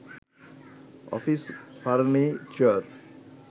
office furniture